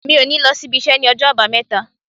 Mi ò ní lọ s'ibiṣẹ́ ní ọjọ́ Àbámẹ́ta.